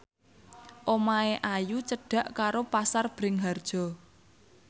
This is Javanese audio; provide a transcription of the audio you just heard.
omahe Ayu cedhak karo Pasar Bringharjo